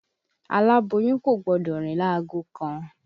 Aláboyún Kò gbọdọ̀ rìn lágo kan.